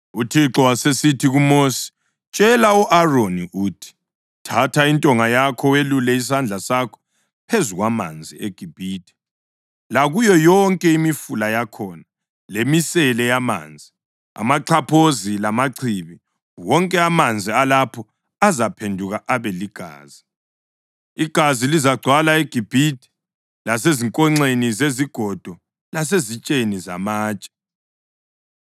UThixo wasesithi kuMosi, “Tshela u-Aroni uthi ‘thatha intonga yakho welulele isandla sakho phezu kwamanzi eGibhithe, lakuyo yonke imifula yakhona lemisele yamanzi, amaxhaphozi, lamachibi, wonke amanzi alapho azaphenduka abe ligazi.’ Igazi lizagcwala eGibhithe lasezinkonxeni zezigodo lasezitsheni zamatshe.”